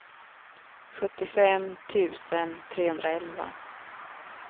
sjuttiofem tusen trehundraelva